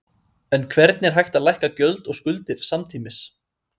En hvernig er hægt að lækka gjöld og skuldir samtímis?